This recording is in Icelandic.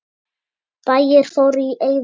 Bæir fóru í eyði.